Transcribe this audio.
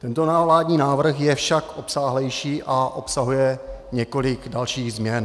Tento vládní návrh je však obsáhlejší a obsahuje několik dalších změn.